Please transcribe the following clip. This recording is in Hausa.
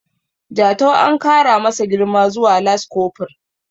Jatau an kara masa girma zuwa laskofur